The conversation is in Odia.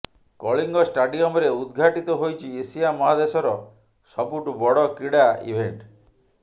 କଳିଙ୍ଗ ଷ୍ଟାଡିଅମରେ ଉଦଘାଟିତ ହୋଇଛି ଏସିଆ ମହାଦେଶର ସବୁଠୁ ବଡ କ୍ରୀଡା ଇଭେଂଟ୍